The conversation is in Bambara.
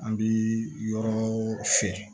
An bi yɔrɔ fiyɛ